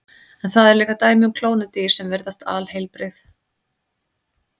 En það eru líka dæmi um klónuð dýr sem virðast alheilbrigð.